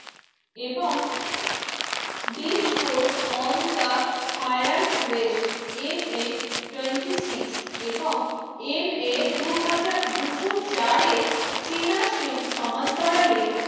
এবং বিশ course on the higher quest M N Twenty six এবং এম এ দুই হাজার দুশো চারে চীনা সে সমান্তরালে